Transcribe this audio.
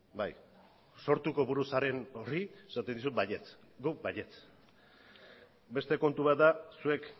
bai sortuko buru zaren horri esaten dizut baietz guk baietz beste kontu bat da zuek